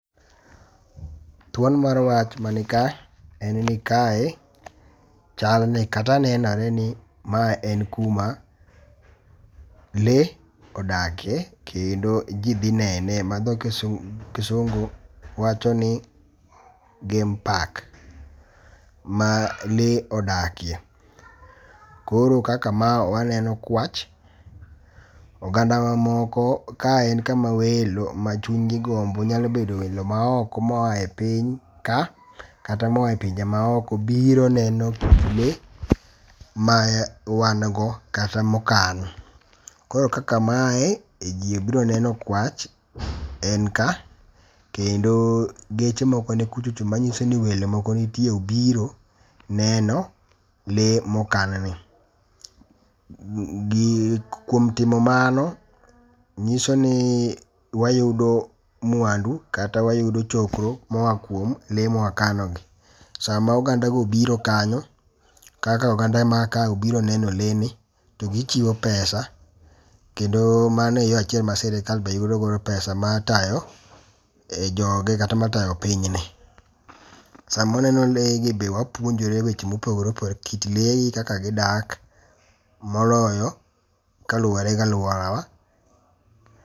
Thuon mar wach man ni ka en ni kae chal ni kata nenore ni ma en kuma lee odake kendo ji dhi nene ma dho kisungu wacho ni game park ma lee odakie. Koro kaka ma waneno kwach. Oganda wa moko kae en kama welo ma chuny gi gombo. Nyalo bedo welo ma oko moae piny ka kata moa e pinje ma oko biro neno lee ma wan go kata mokan. Koro kaka mae ji obiro neno kwach en ka. Kendo geche moko ni kuchocho manyiso ni welo moko nitie obiro neno le mokan ni. Kuom timo mano nyiso ni wayudo mwandu kata wayudo chokro moa kuom lee ma wakano gi. Sama oganda go obiro kanyo kaka oganda ma ka obiro neno lee ni togichiwo pesa. Kendo mano e yo achiel ma sirkal be yudo godo pesa mar tayo joge kata mar tayo pinyni. Samoneno lee gi be wapuonjore weche mopogore opogore. Kit lee kaka gidak moloyo koluwore gi aluora wa.